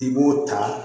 I b'o ta